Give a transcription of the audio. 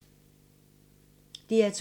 DR2